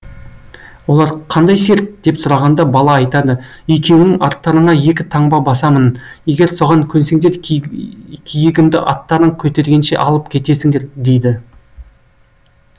олар қандай серт деп сұрағанда бала айтады екеуіңнің арттарыңа екі таңба басамын егер соған көнсеңдер киігімді аттарың көтергенше алып кетесіңдер дейді